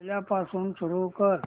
पहिल्यापासून सुरू कर